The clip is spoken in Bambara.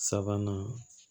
Sabanan